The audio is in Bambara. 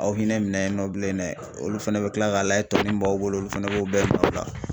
Aw hinɛ minɛ yen nɔ bilen dɛ olu fana bi kila k'a layɛ tɔnni b'aw bolo olu fana b'u bɛɛ min'aw la